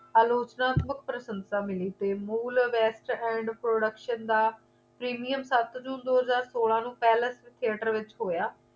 ਆਲੋਚਨਾਤਮਕ ਪ੍ਰਸੰਸਾ ਮਿਲੀ ਤੇ ਮੂਲ best and production ਦਾ premium ਸੱਤ ਜੂਨ ਦੋ ਹਜ਼ਾਰ ਸੋਲਾਂ ਨੂੰ palace theatre ਵਿੱਚ ਹੋਇਆ